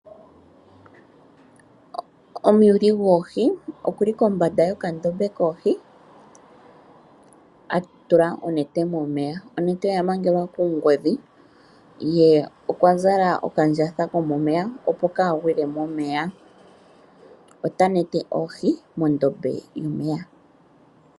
Omuyuli gwoohi okuli kombanda yokandombe koohi atula onete momeya . Onete oyamangelwa kuungodhi ye okwazala okandjatha komomeya opo kagwile momeya, otanete oohi mondombe yomeya.